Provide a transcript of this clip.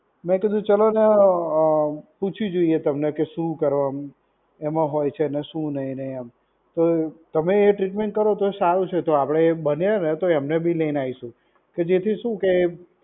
મેં કીધું ચલોને અ પૂછી જોઈએ તમને કે શું કરવાનું એમાં હોય છે અને શું નહીં? એમ. તો તમે એ ટ્રીટમેન્ટ કરો તો સારું છે. તો આપડે બને ને તો એમને બી લઈને આવીશું. કે જેથી શું કે